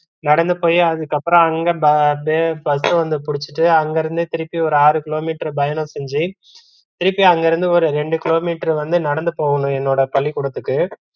நடந்து போய் அதுக்கப்பறம் அங்க ப bus அ வந்து பிடிச்சுட்டு அங்கிருந்து திருப்பி ஒரு ஆறு கிலோமீட்டர் பயணம் செஞ்சு திருப்பி அங்கிருந்து ஒரு ரெண்டு கிலோமீட்டர் வந்து நடந்து போகணும் என்னோட பள்ளிகுடத்துக்கு